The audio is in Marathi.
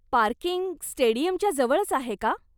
पार्किंग स्टेडीयमच्या जवळच आहे का?